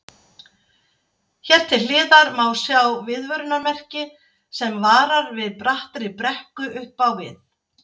Hér til hliðar má sjá viðvörunarmerki sem varar við brattri brekku upp á við.